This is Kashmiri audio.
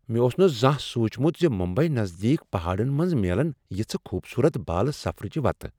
مےٚ اوس نہٕ زانٛہہ سوچمت زِ ممبیی نزدیک پہاڑن منٛز میلن یژھہٕ خوبصورت بالہ سفرٕچہ وتہٕ۔